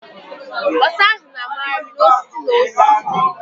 Ọsa ahụ na-a magharị n'osisi n'osisi